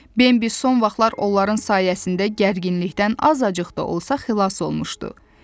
Bembi son vaxtlar onların sayəsində gərginlikdən azacıq da olsa xilas olmuşdu.